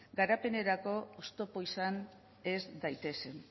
garapenerako oztopo izan ez daitezen